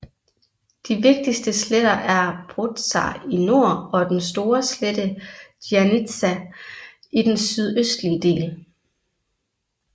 De vigtigste sletter er Pozar i nord og den store slette Giannitsà i den sydøstlige del